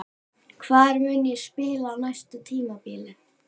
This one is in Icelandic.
Hvar mun ég spila á næsta tímabili?